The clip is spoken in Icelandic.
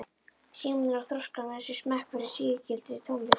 Símon er að þroska með sér smekk fyrir sígildri tónlist.